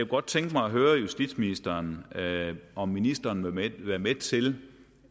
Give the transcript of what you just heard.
godt tænke mig at høre justitsministeren om ministeren vil være med til